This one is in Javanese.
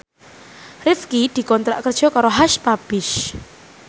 Rifqi dikontrak kerja karo Hush Puppies